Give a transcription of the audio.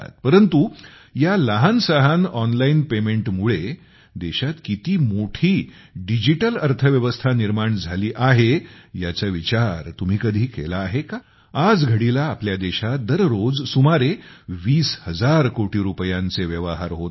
परंतु या लहानसहान ऑनलाईन पेमेंटमुळे देशात किती मोठी डिजिटल अर्थव्यवस्था निर्माण झाली आहे याचा विचार तुम्ही कधी केला आहे का आजघडीला आपल्या देशात दररोज सुमारे 20 हजार कोटी रुपयांचे व्यवहार होत आहेत